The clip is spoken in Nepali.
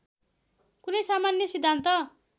कुन सामान्य सिद्धान्त